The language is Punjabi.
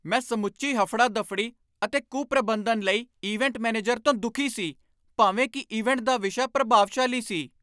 ਮੈਂ ਸਮੁੱਚੀ ਹਫੜਾ ਦਫੜੀ ਅਤੇ ਕੁਪ੍ਰਬੰਧਨ ਲਈ ਇਵੈਂਟ ਮੈਨੇਜਰ ਤੋਂ ਦੁਖੀ ਸੀ ਭਾਵੇਂ ਕੀ ਇਵੈਂਟ ਦਾ ਵਿਸ਼ਾ ਪ੍ਰਭਾਵਸ਼ਾਲੀ ਸੀ